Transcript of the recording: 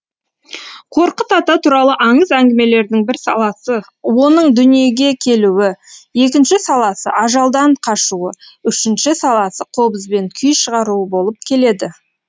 қорқыт ата туралы аңыз әңгімелердің бір саласы оның дүниеге келуі екінші саласы ажалдан қашуы үшінші саласы қобызбен күй шығаруы болып келеді